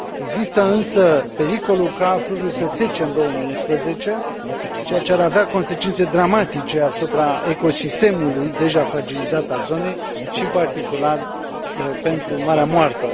Există însă pericolul ca fluviul să sece în 2011, ceea ce ar avea consecințe dramatice asupra ecosistemului deja fragilizat al zonei și, în particular, pentru Marea Moartă.